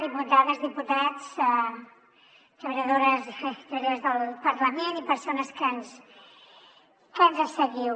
diputades i diputats treballadores i treballadors del parlament i persones que ens que ens seguiu